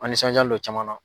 An nisɔnjalen don caman na.